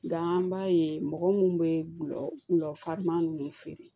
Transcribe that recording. Nka an b'a ye mɔgɔ minnu bɛ gulɔ gulɔ farisama ninnu feere